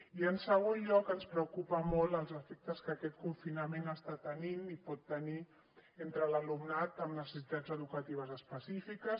i en segon lloc ens preocupen molt els efectes que aquest confinament està tenint i pot tenir entre l’alumnat amb necessitats educatives específiques